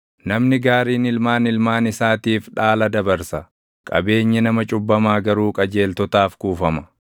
Namni gaariin ilmaan ilmaan isaatiif dhaala dabarsa; qabeenyi nama cubbamaa garuu qajeeltotaaf kuufama.